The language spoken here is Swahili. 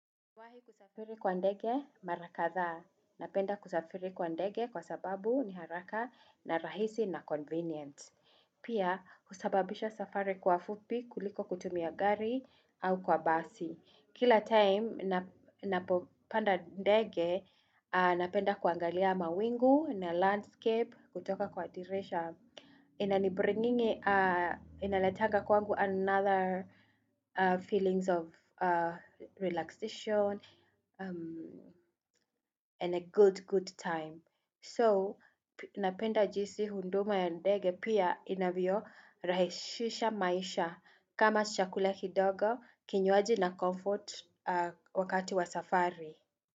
Nimewahi kusafiri kwa ndege mara kadhaa. Napenda kusafiri kwa ndege kwa sababu ni haraka na rahisi na convenient. Pia husababisha safari kwa fupi kuliko kutumia gari au kwa basi. Kila time ninapopanda ndege napenda kuangalia mawingu na landscape kutoka kwa dirisha. Inaletanga kwangu another feelings of relaxation and a good time So, napenda jinsi huduma ya ndege pia inavyorahisisha maisha, kama chakula kidogo, kinywaji na comfort. Wakati wa safari.